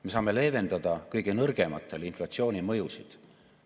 Me saame leevendada kõige nõrgematele inflatsiooni mõjusid.